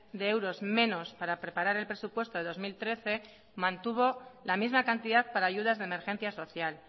de euros menos para preparar el presupuesto de dos mil trece mantuvo la misma cantidad para ayudas de emergencia social